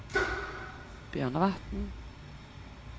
Bjørnevatn